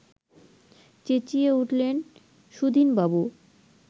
চেঁচিয়ে উঠলেন সুধীনবাবু